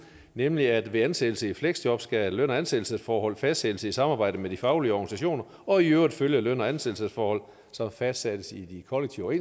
nemlig at ved ansættelse i fleksjob skal løn og ansættelsesforhold fastsættes i samarbejde med de faglige organisationer og i øvrigt følge løn og ansættelsesforhold som fastsættes i de kollektive